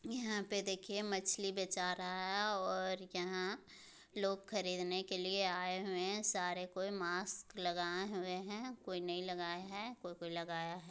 यहाँ पे देखिए मछली बेचा रहा है और यहाँ लोग खरीदने के लिए आए हुए हैं सारे कोई मास्क लगाए हुए हैं कोई नहीं लगाए हैं कोई-कोई लगाया है।